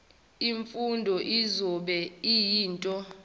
imfundo izobe iyinto